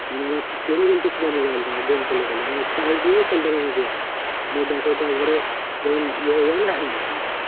মানে আমার mobile টা game খেলে খেলে মানে চাইরদিনও খেলতে পারিনি game battery টা একবারে